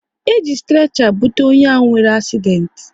E ji strecha bute onye ahụ nwere asident